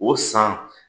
O san